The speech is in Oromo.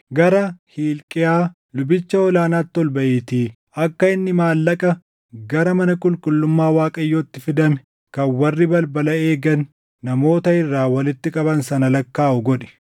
“Gara Hilqiyaa lubicha ol aanaatti ol baʼiitii akka inni maallaqa gara mana qulqullummaa Waaqayyootti fidame kan warri balbala eegan namoota irraa walitti qaban sana lakkaaʼu godhi.